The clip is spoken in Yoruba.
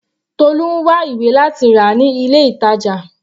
Tolu ń wá ìwé láti rà ní ilé ìtàjà.